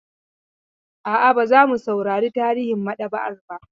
A'a, ba za mu saurari tarihin maɗaba'ar ba.